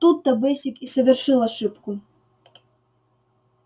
тут то бэсик и совершил ошибку